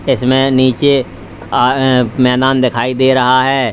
इसमें नीचे अ अह मैदान दिखाई दे रहा है।